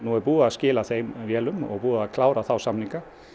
er búið að skila þeim vélum og búið að klára þá samninga